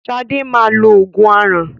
Sadé máa lo oògùn aràn